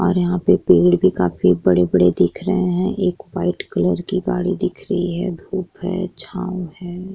यहाँ पे पेड़ भी काफी बड़े-बड़े दिख रहे हैं। एक व्हाइट कलर की गाड़ी दिख रही है। धूप है छाँव है।